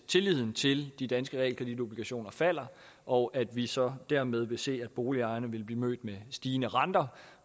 tilliden til de danske realkreditobligationer falder og at vi så dermed vil se at boligejerne vil blive mødt med stigende renter